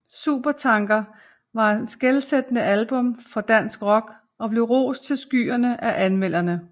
Supertanker var et skelsættende album for dansk rock og blev rost til skyerne af anmeldere